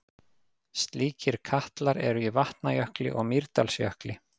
Slíkir katlar eru í Vatnajökli og Mýrdalsjökli.